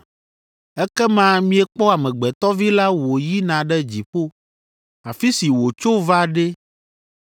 Ekema miekpɔ Amegbetɔ Vi la wòyina ɖe dziƒo, afi si wòtso va ɖe!